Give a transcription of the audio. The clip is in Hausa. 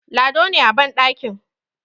Lado ne a bandakin